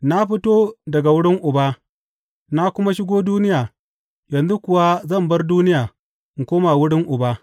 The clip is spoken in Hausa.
Na fito daga wurin Uba, na kuma shigo duniya, yanzu kuwa zan bar duniya in koma wurin Uba.